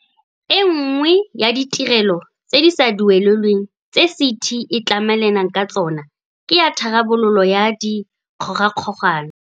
E nngwe ya ditirelo tse di sa duelelweng tse CT e tlamelanang ka tsona ke ya tharabololo ya dikgogakgogano.